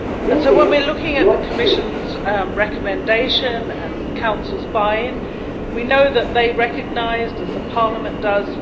So when we're looking at the Commission's recommendation and the Council's buy in, we know that they recognised as Parliament does